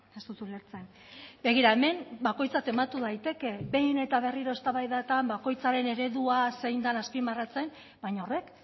ez dut ulertzen begira hemen bakoitzak tematu daiteke behin eta berriro eztabaidetan bakoitzak bere eredua zein den azpimarratzen baina horrek